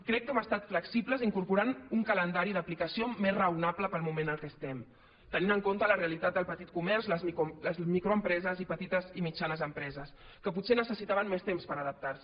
crec que hem estat flexibles incorporant un calendari d’aplicació més raonable per al moment en què estem tenint en compte la realitat del petit comerç les microempreses i petites i mitjanes empreses que potser necessitaven més temps per adaptar se